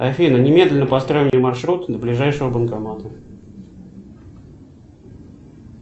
афина немедленно построй мне маршрут до ближайшего банкомата